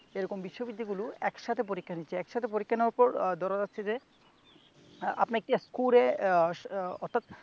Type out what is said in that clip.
এরকম বিশ্ববিদ্যালয় গুলো একসাথে পরীক্ষা নিচ্ছে। একসাথে পরীক্ষা নেওয়ার পর আহ ধরা যাচ্ছে যে আপনি একটি স্কোরে আহ অর্থাৎ